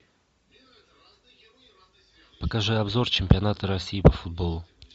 покажи обзор чемпионата россии по футболу